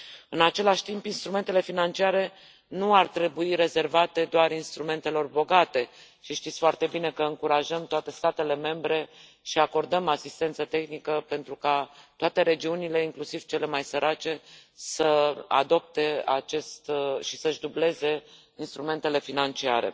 În același timp, instrumentele financiare nu ar trebui rezervate doar instrumentelor bogate și știți foarte bine că încurajăm toate statele membre și acordăm asistență tehnică pentru ca toate regiunile, inclusiv cele mai sărace, să adopte și să își dubleze instrumentele financiare.